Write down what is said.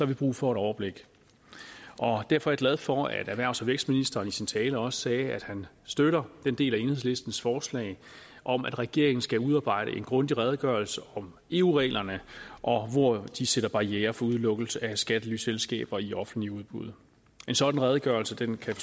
vi brug for et overblik og derfor er jeg glad for at erhvervs og vækstministeren i sin tale også sagde at han støtter den del af enhedslistens forslag om at regeringen skal udarbejde en grundig redegørelse om eu reglerne og hvor de sætter barrierer for udelukkelse af skattelyselskaber i offentligt udbud en sådan redegørelse kan kan